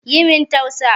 Yi min tausa